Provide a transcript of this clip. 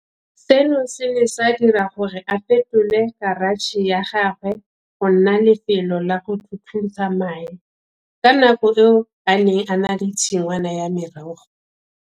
Seno se ne sa dira gore a fetole karatšhe ya gagwe go nna lefelo la go thuthusa mae. Ka nako eo o ne a na le tshingwana ya merogo.